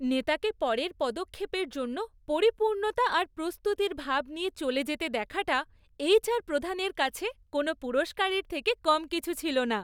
নেতাকে পরের পদক্ষেপের জন্য পরিপূর্ণতা আর প্রস্তুতির ভাব নিয়ে চলে যেতে দেখাটা এইচআর প্রধানের কাছে কোনও পুরস্কারের থেকে কম কিছু ছিল না।